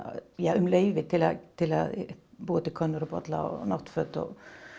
um leyfi til að búa til könnur og bolla og náttföt og